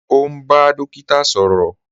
Ọ̀ n bá dòkíta sọrọ